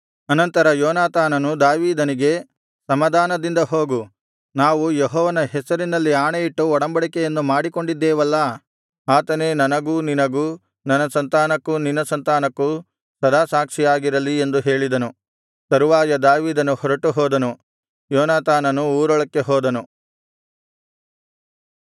ಅನಂತರ ಯೋನಾತಾನನು ದಾವೀದನಿಗೆ ಸಮಾಧಾನದಿಂದ ಹೋಗು ನಾವು ಯೆಹೋವನ ಹೆಸರಿನಲ್ಲಿ ಆಣೆಯಿಟ್ಟು ಒಡಂಬಡಿಕೆಯನ್ನು ಮಾಡಿಕೊಂಡಿದ್ದೇವಲ್ಲಾ ಆತನೇ ನನಗೂ ನಿನಗೂ ನನ್ನ ಸಂತಾನಕ್ಕೂ ನಿನ್ನ ಸಂತಾನಕ್ಕೂ ಸದಾ ಸಾಕ್ಷಿಯಾಗಿರಲಿ ಎಂದು ಹೇಳಿದನು ತರುವಾಯ ದಾವೀದನು ಹೊರಟುಹೋದನು ಯೋನಾತಾನನು ಊರೊಳಕ್ಕೆ ಹೋದನು